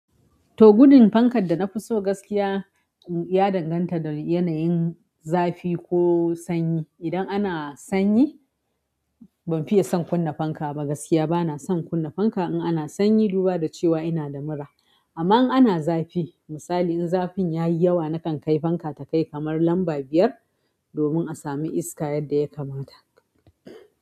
Toh gudun fankar da nafi so gaskiya ya danganta da yanayin zafi ko sanyi. Idan ana sanyi, ban fiye son kunna fanka ba gaskiya, bana son kunna fanka in ana sanyi, duba da cewa ina da mura. Amma in ana zafi, misali in zafin yayi yawa, nakan kai fanka ta kai kamar lamba biyar domin a samu iska yadda ya kamata.